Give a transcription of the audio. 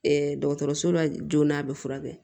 dɔgɔtɔrɔso la joona a bɛ furakɛ